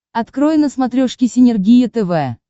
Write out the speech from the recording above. открой на смотрешке синергия тв